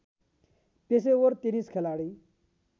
पेशेवर टेनिस खेलाडी